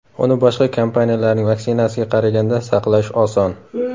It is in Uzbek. Uni boshqa kompaniyalarning vaksinasiga qaraganda saqlash oson.